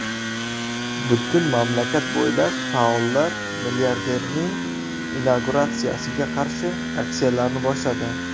Butun mamlakat bo‘ylab faollar milliarderning inauguratsiyasiga qarshi aksiyalarni boshladi.